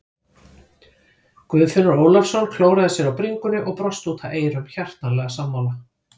Guðfinnur Ólafsson klóraði sér á bringunni og brosti út að eyrum, hjartanlega sammála.